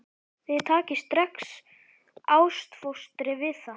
Þið takið strax ástfóstri við það.